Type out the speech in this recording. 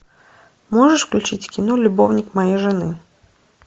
можешь включить кино любовник моей жены